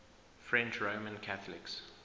french roman catholics